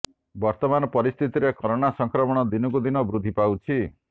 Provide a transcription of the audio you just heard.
ବର୍ତ୍ତମାନ ପରିସ୍ଥିତିରେ କରୋନା ସଂକ୍ରମଣ ଦିନକୁ ଦିନ ବୃଦ୍ଧି ପାଉଛି